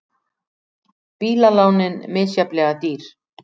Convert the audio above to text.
Bílalánin misjafnlega dýr